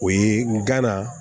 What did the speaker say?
O ye n gana